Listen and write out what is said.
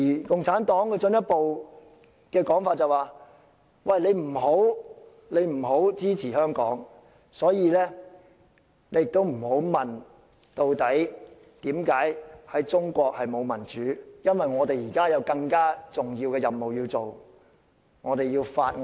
共產黨更進一步說不要支持香港，所以，大家不要問中國為甚麼沒有民主，因為他們有更重要的任務，要築造他們的中國夢。